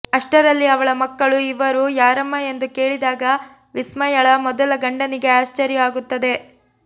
ಅಷ್ಟರಲ್ಲಿ ಅವಳ ಮಕ್ಕಳು ಇವರು ಯಾರಮ್ಮ ಎಂದು ಕೇಳಿದಾಗ ವಿಸ್ಮಯಳ ಮೊದಲ ಗಂಡನಿಗೆ ಆಶ್ಚರ್ಯ ಆಗುತ್ತದೆ